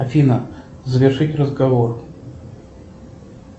афина завершить разговор